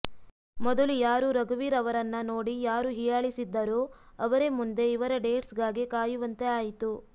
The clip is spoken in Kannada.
ಮೊದಲು ಯಾರು ರಘುವೀರ್ ಅವರನ್ನ ನೋಡಿ ಯಾರು ಹೀಯಾಳಿಸಿದ್ದರೋ ಅವರೇ ಮುಂದೆ ಇವರ ಡೇಟ್ಸ್ ಗಾಗಿ ಕಾಯುವಂತೆ ಆಯಿತು